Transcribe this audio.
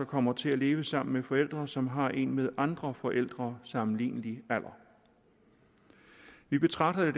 kommer til at leve sammen med forældre som har en med andre forældre sammenlignelig alder vi betragter det